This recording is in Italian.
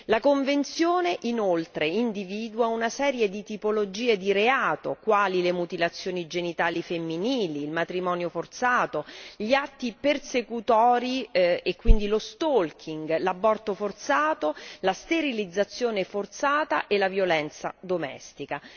La convenzione inoltre individua una serie di tipologie di reato quali le mutilazioni genitali femminili, il matrimonio forzato, gli atti persecutori e quindi lo stalking l'aborto forzato, la sterilizzazione forzata e la violenza domestica.